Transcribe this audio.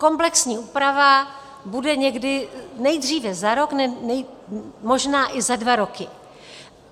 Komplexní úprava bude někdy nejdříve za rok, možná i za dva roky.